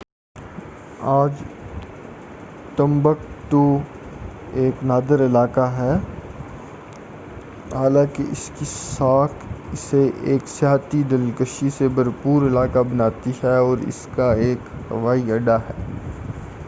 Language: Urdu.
آج ٹمبکٹو ایک نادار علاقہ ہے حالانکہ اس کی ساکھ اسے ایک سیاحتی دلکشی سے بھرپُور علاقہ بناتی ہے اور اس کا ایک ہوائی اڈّہ ہے